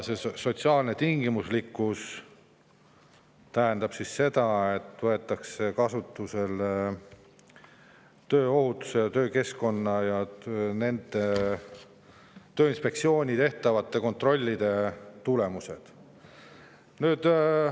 Sotsiaalne tingimuslikkus tähendab seda, et tööohutuse ja töökeskkonna ning Tööinspektsiooni tehtavate kontrollide tulemusi.